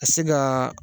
Ka se ka